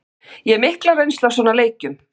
Ég hef mikla reynslu af svona leikjum.